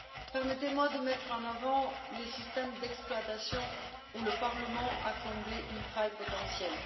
Permettez moi de mettre en avant les systèmes d'exploitation, dont le Parlement a comblé une faille potentielle.